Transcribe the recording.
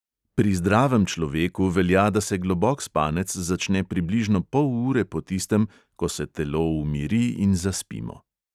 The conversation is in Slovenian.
Pri zdravem človeku velja, da se globok spanec začne približno pol ure po tistem, ko se telo umiri in zaspimo.